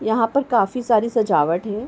यहाँ पर काफी सारी सजावट है।